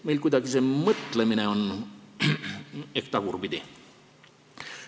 Meil on see mõtlemine kuidagi tagurpidi.